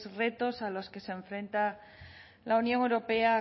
retos a los que se enfrenta la unión europea a